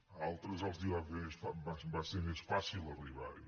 a altres els va ser més fàcil arribarhi